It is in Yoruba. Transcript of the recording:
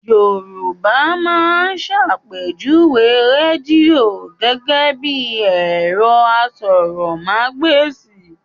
Yorùbá máa ń ṣàpèjúwe rádíò gẹ́gẹ́ bí ẹ̀rọ asọ̀rọ̀mágbèsì